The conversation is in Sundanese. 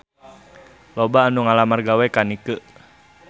Loba anu ngalamar gawe ka Nike